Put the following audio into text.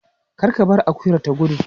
Kar ka bar akuyar ta gudu.